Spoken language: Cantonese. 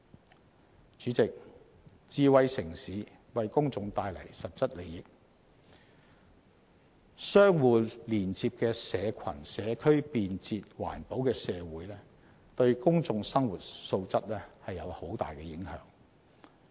代理主席，智慧城市為公眾帶來實質利益，相互連接的社群、社區，便捷、環保的社會對公眾生活素質有很大影響。